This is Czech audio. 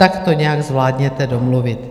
Tak to nějak zvládněte domluvit."